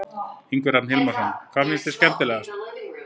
Ingi Hrafn Hilmarsson: Hvað fannst þér skemmtilegast?